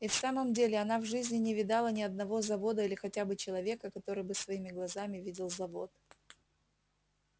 и в самом деле она в жизни не видала ни одного завода или хотя бы человека который бы своими глазами видел завод